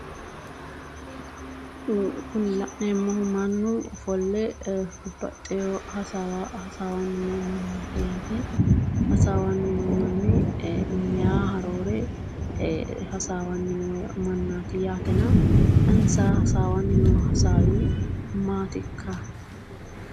Kuni la'neemmohu mannu ofolle babbaxxeyo hasaawa hasaawanni no mannaati yaate hasaawanni no manni mayiiha roore hasaawanni noo mannaati yaatena insa hasaawanni noo hasaawi maatikka?